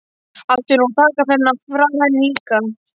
Átti nú að taka þennan frá henni líka?